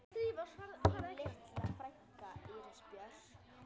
Þín litla frænka, Íris Björk.